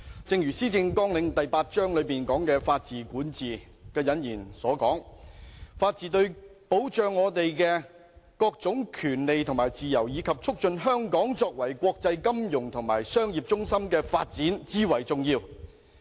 正如施政綱領第八章"法治、管治"的引言所述，"法治對保障我們各種權利及自由，以及促進香港作為國際金融及商業中心的發展，至為重要。